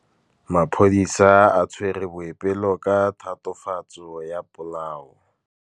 Maphodisa a tshwere Boipelo ka tatofatsô ya polaô.